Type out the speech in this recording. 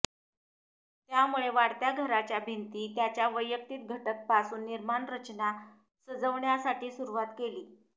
त्यामुळे वाढत्या घराच्या भिंती त्याच्या वैयक्तिक घटक पासून निर्माण रचना सजवण्यासाठी सुरुवात केली